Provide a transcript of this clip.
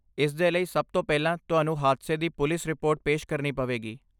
ਇਸਦੇ ਲਈ, ਸਭ ਤੋਂ ਪਹਿਲਾਂ, ਤੁਹਾਨੂੰ ਹਾਦਸੇ ਦੀ ਪੁਲਿਸ ਰਿਪੋਰਟ ਪੇਸ਼ ਕਰਨੀ ਪਵੇਗੀ।